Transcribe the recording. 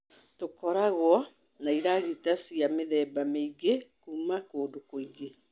Tũkoragwo na iragita cia mĩthemba mĩingĩ kuuma kũndũ kũingĩ.